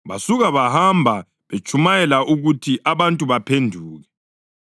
Basuka bahamba betshumayela ukuthi abantu kabaphenduke.